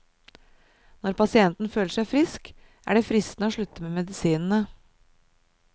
Når pasienten føler seg frisk, er det fristende å slutte med medisinene.